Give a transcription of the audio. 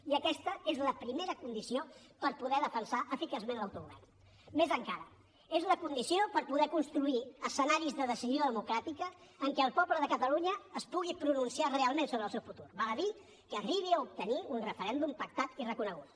i aquesta és la primera condició per poder defensar eficaçment l’autogovern més encara és la condició per poder construir escenaris de decisió democràtica en què el poble de catalunya es pugui pronunciar realment sobre el seu futur val a dir que arribi a obtenir un referèndum pactat i reconegut